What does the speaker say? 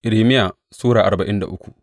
Irmiya Sura arba'in da uku